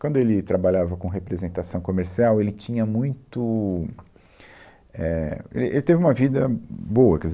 Quando ele trabalhava com representação comercial, ele tinha muito, éh, ele ele teve uma vida boa, quer dizer